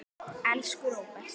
Elsku Róbert.